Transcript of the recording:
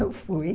Eu fui.